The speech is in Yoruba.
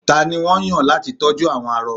tani won yan lati tọju àwọn arọ